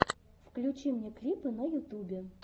включи мне клипы на ютюбе